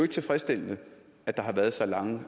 tilfredsstillende at der har været så lange